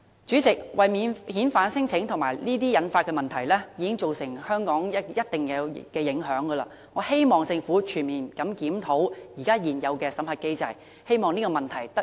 主席，免遣返聲請及其引發的問題已對香港造成一定的影響，我希望政府全面檢討現有的審核機制，早日紓解這個問題。